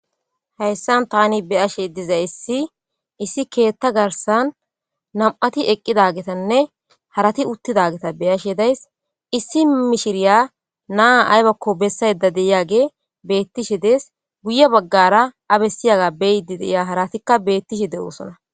Haysan taani beyashe dizaysi,issi keetha garsan Nam'ati eqqidagetanne harati uttidaveta be'ashe days. Issi mishiriya na'a ay ako bessayda de'iyage beetishe dees. Guye baggara a bessiyaga beyiddi de'iya haratika beetishe de'osona